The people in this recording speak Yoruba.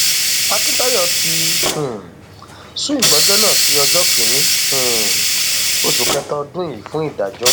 akíntayọ ti um sún ìgbẹjọ náà sí ọjọ kìnínní um oṣù kẹta ọdún yìí fún ìdájọ